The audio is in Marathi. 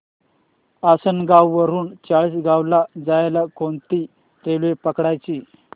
आसनगाव वरून चाळीसगाव ला जायला कोणती रेल्वे पकडायची